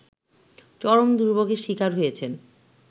চরম দুর্ভোগের শিকার হয়েছেন